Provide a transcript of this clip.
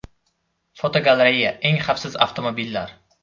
Fotogalereya: Eng xavfsiz avtomobillar.